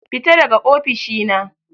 Fita daga ofishina.